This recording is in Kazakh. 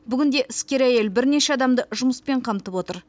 бүгінде іскер әйел бірнеше адамды жұмыспен қамтып отыр